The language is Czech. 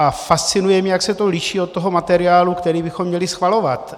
A fascinuje mě, jak se to liší od toho materiálu, který bychom měli schvalovat.